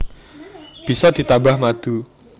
Bisa ditambah madu